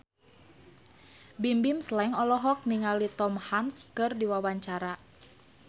Bimbim Slank olohok ningali Tom Hanks keur diwawancara